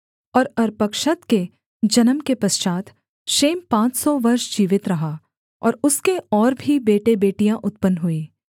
और अर्पक्षद के जन्म के पश्चात् शेम पाँच सौ वर्ष जीवित रहा और उसके और भी बेटेबेटियाँ उत्पन्न हुईं